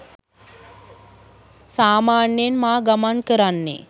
සාමාන්‍යයෙන් මා ගමන් කරන්නේ